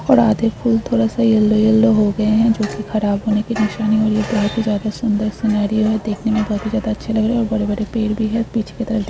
और आधे फूल थोड़ा सा यलो यलो हो गए है जो की खराब होने की बहुत ही ज्यादा सुंदर और सुनहरी और देखने में बहुत ही ज्यादा अच्छे लग रहे है और बड़े -बड़े पेड़ भी है और बीच में --